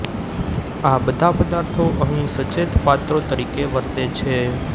આ બધા પદાર્થો અહીં સચેત પાત્રો તરીકે વર્તે છે